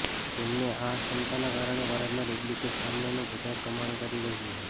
તેમએને આ અક્ષમતાના કારણે ભારતમાં ડુપ્લીકેટ સામાનનું બજાર કમાણી કરી રહ્યું છે